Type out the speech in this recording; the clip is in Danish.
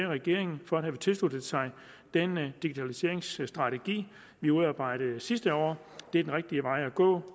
regeringen for at have tilsluttet sig den digitaliseringsstrategi vi udarbejdede sidste år det er den rigtige vej at gå